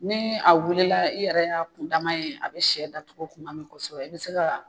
Ni a wilila i yɛrɛ y'a kundama ye a bɛ sɛ datogo tuma min kosɛbɛ i bɛ se ka